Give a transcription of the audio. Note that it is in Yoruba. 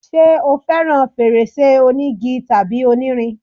ṣé o fẹràn fèrèsé onígi tàbí onírin?